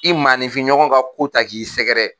I manifin ɲɔgɔn ka ko ta k'i sɛgɛrɛ!